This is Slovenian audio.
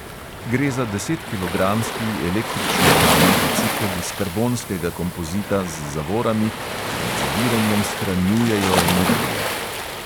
Gre za desetkilogramski električno gnani bicikel iz karbonskega kompozita z zavorami, ki med zaviranjem shranjujejo energijo.